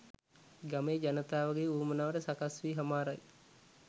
ගමේ ජනතාවගේ වුවමනාව සකස් වී හමාරයි